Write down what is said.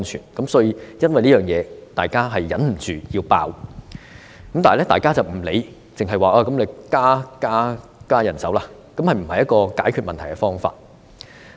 為着這一點，大家忍不住要"爆"，而其他人沒有理會，只是說要增加人手，但這並不是解決問題的方法。